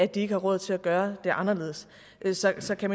de ikke har råd til at gøre det anderledes så så kan